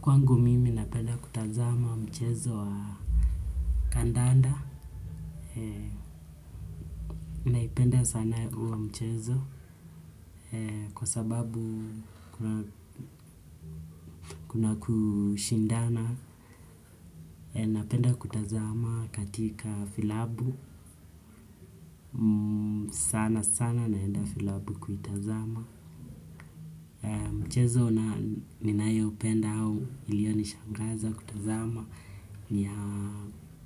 Kwangu mimi napenda kutazama mchezo wa kandanda, naipenda sana uo mchezo kwa sababu kuna kushindana, napenda kutazama katika filabu, sanasana naenda filabu kuitazama mchezo ninayoupenda ama iliyonishangaza kutazama ni